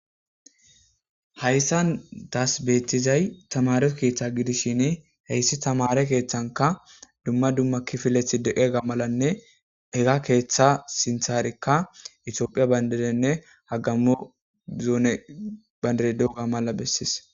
Hayssan taasi beettizay tamaare keeththa gidishin hayssi tamaare keeththankka dumma dumma kifileti de'iyaga malanne hega keeththa sinrhthan tophphiya bandiraynne ha gaammo zoone bandiray dooga mala besses.